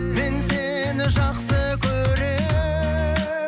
мен сені жақсы көремін